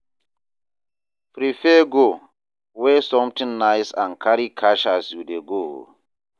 Prepare go, where something nice and carry cash as you de go